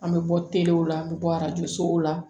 An bɛ bɔ telew la an bɛ bɔ arajo sow la